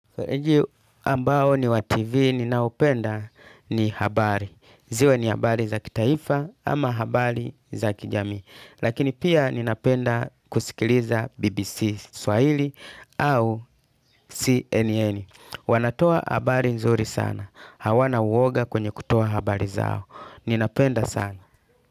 Ambayo ni wa TV ninaopenda ni habari. Ziwe ni habari za kitaifa ama habari za kijamii. Lakini pia ninapenda kusikiliza BBC Swahili au CNN. Wanatoa habari nzuri sana. Hawana uoga kwenye kutoa habari zao. Ninapenda sana.